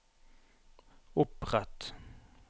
opprett